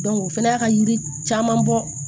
o fɛnɛ y'a ka yiri caman bɔ